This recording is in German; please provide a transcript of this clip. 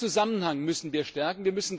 Diesen Zusammenhang müssen wir stärken.